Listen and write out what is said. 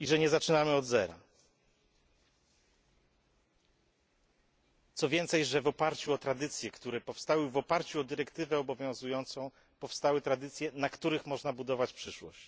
i że nie zaczynamy od zera, co więcej, że w oparciu o obowiązującą dyrektywę powstały tradycje, na których można budować przyszłość.